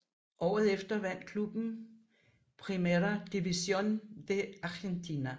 Året efter vandt klubben Primera División de Argentina